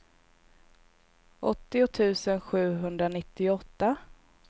åttio tusen sjuhundranittioåtta